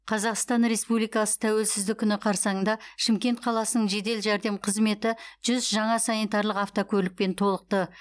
қазақстан республикасы тәуелсіздігі күні қарсаңында шымкент қаласының жедел жәрдем қызметі жүз жаңа санитарлық автокөлікпен толықты